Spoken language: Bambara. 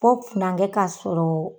Ko funakɛ k'a sɔrɔ.